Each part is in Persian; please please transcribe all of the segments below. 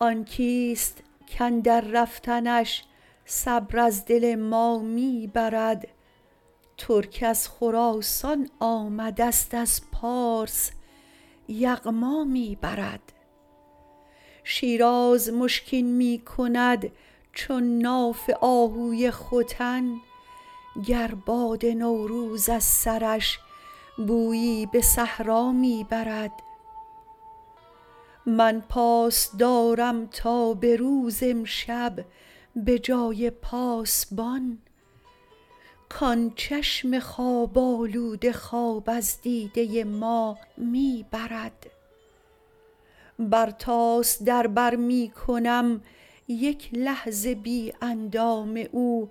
آن کیست کاندر رفتنش صبر از دل ما می برد ترک از خراسان آمدست از پارس یغما می برد شیراز مشکین می کند چون ناف آهوی ختن گر باد نوروز از سرش بویی به صحرا می برد من پاس دارم تا به روز امشب به جای پاسبان کان چشم خواب آلوده خواب از دیده ما می برد برتاس در بر می کنم یک لحظه بی اندام او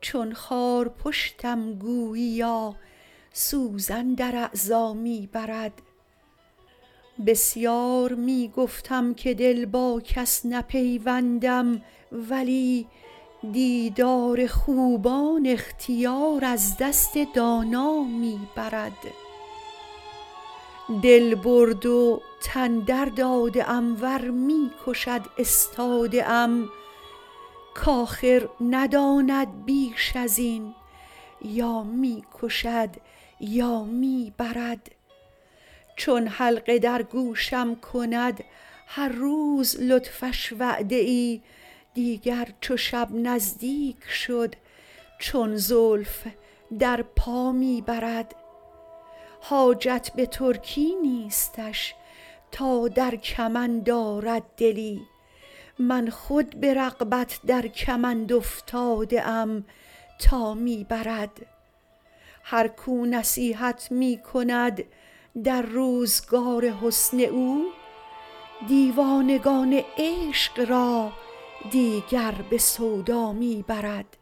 چون خارپشتم گوییا سوزن در اعضا می برد بسیار می گفتم که دل با کس نپیوندم ولی دیدار خوبان اختیار از دست دانا می برد دل برد و تن درداده ام ور می کشد استاده ام کآخر نداند بیش از این یا می کشد یا می برد چون حلقه در گوشم کند هر روز لطفش وعده ای دیگر چو شب نزدیک شد چون زلف در پا می برد حاجت به ترکی نیستش تا در کمند آرد دلی من خود به رغبت در کمند افتاده ام تا می برد هر کو نصیحت می کند در روزگار حسن او دیوانگان عشق را دیگر به سودا می برد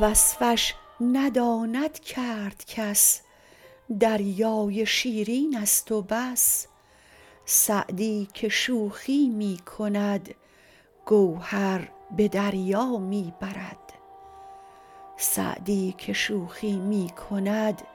وصفش نداند کرد کس دریای شیرینست و بس سعدی که شوخی می کند گوهر به دریا می برد